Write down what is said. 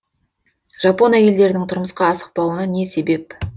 жапон әйелдерінің тұрмысқа асықпауына не себеп